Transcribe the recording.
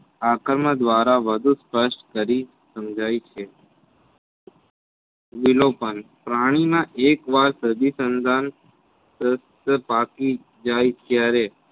આકર્મ દ્વારા વધુ સ્પષ્ટ કરી સમજાય છે. લીલોપન પ્રાણીમાં એક વાર સદ્ધિસંધાન જાય ત્યારે